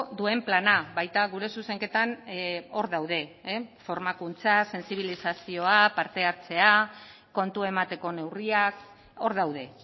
duen plana baita gure zuzenketan hor daude formakuntza sentsibilizazioa parte hartzea kontu emateko neurriak hor daude